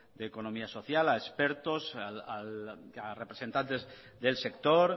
de economía social a expertos a representantes del sector